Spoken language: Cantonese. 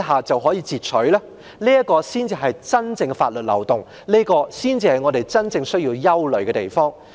這才是真正的法律漏洞，亦是我們真正需要憂慮之處。